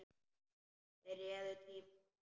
Þeir réðu tíma hans.